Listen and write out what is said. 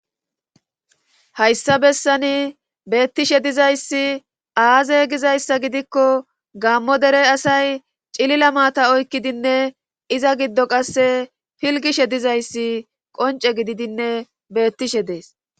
Hayssa bessani beettishe dizayssi aaze gizayssa gidikko gammo dere asay cilila maata oykkidinne iza giddo qasse pilgishe dizayssi qonce gididinne beettishe dees